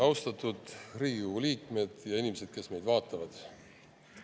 Austatud Riigikogu liikmed ja inimesed, kes meid vaatavad!